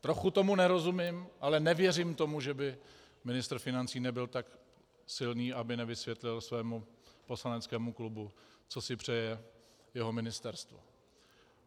Trochu tomu nerozumím, ale nevěřím tomu, že by ministr financí nebyl tak silný, aby nevysvětlil svému poslaneckému klubu, co si přeje jeho ministerstvo.